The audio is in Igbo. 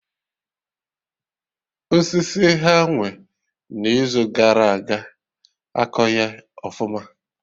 Osisi ha nwee na Izu gara aga akọghị ọfụma